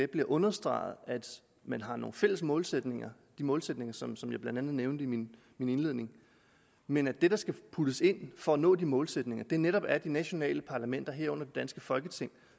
blev understreget at man har nogle fælles målsætninger de målsætninger som som jeg blandt andet nævnte i min indledning men at det der skal puttes ind for at nå de målsætninger netop besluttes af de nationale parlamenter herunder det danske folketing